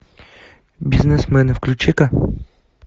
бизнесмены включи ка